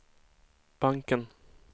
banken